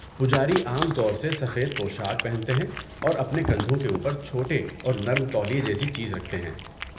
پجاری عام طور سے سفید پوشاک پہنتے ہیں اور اپنے کندھوں کے اوپر چھوٹے اور نرم تولیہ جیسی چیز رکھتے ہیں۔